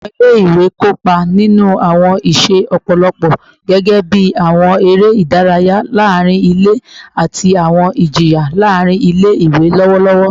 Awọn ọmọ ile-iwe kopa ninu awọn iṣe lọpọlọpọ gẹgẹbi awọn ere idaraya laarin ile ati awọn ijiyan laarin ile-iwe lọwọlọwọ